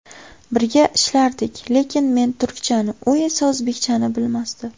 Birga ishlardik, lekin men turkchani, u esa o‘zbekchani bilmasdi.